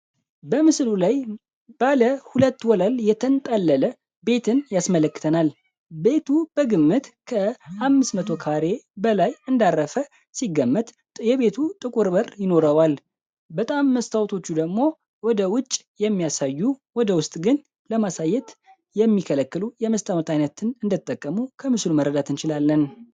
በምስሉ ላይ ባለ ሁለት ወለል የትንጠለለ ቤትን ያስመለክተናል። ቤቱ በግምት ከ 500 ካሬ በላይ እንዳረፈ ሲገመጥ የቤቱ ጥቁር ይኖረዋል በጣም መስታዎቶቹ ደግሞ ወደ ውጭ የሚያሳዩ ወደ ውስጥ ግን ለማሳየት የሚከለክሉ የመስጠት አይነት እንደተጠቀሙ ከምስሉ መረዳት እንችላለን።